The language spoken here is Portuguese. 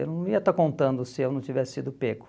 Eu não ia estar contando se eu não tivesse sido pego.